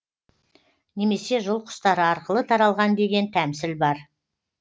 немесе жыл құстары арқылы таралған деген тәмсіл бар